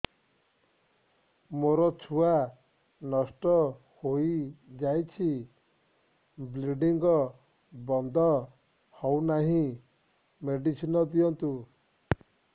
ମୋର ଛୁଆ ନଷ୍ଟ ହୋଇଯାଇଛି ବ୍ଲିଡ଼ିଙ୍ଗ ବନ୍ଦ ହଉନାହିଁ ମେଡିସିନ ଦିଅନ୍ତୁ